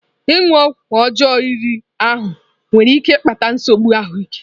Ịṅụ ọgwụ ọjọọ riri ahụ nwere ike ịkpata nsogbu ahụ ike.